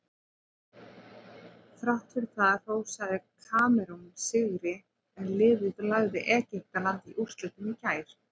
Þrátt fyrir það hrósaði Kamerún sigri en liðið lagði Egyptaland í úrslitum í gær.